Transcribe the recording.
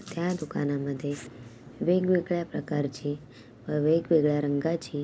क्या दुकान अंदर थी विभिन प्रकार छी विभिन रंगा छी--